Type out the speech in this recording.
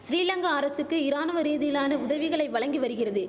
சிறிலங்கா அரசுக்கு இராணுவ ரீதியிலான உதவிகளை வழங்கி வரிகிறது